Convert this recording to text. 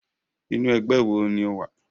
Inú ẹgbẹ́ wo ni o wà?